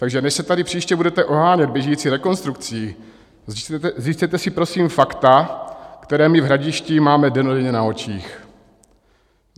Takže než se tady příště budete ohánět běžící rekonstrukcí, zjistěte si prosím fakta, která my v Hradišti máme dennodenně na očích.